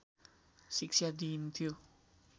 शिक्षा दिइन्थ्यो।